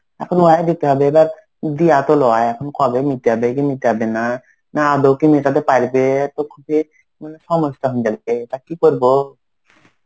এখন ওয়াই দিতে হবে. এবার দিয়া তো লয়. এখন কবে মিটাবে কি মিটাবে না. না আদৌ কি মেটাতে পারবে. তো খুবই মানে সমস্যা. তা কি করবো?